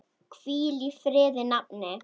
Hvíl í friði nafni.